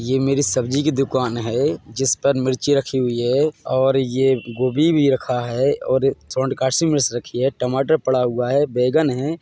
ये मेरी सब्जी की दुकान है जिस पर मिर्ची रखी हुई है और ये गोभी भी रखा है और सोंड कासी मिर्च रखी है टमाटर पड़ा हुआ है बैंगन है।